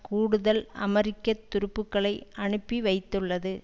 கூடுதல் அமெரிக்க துருப்புக்களை அனுப்பி வைத்துள்ளது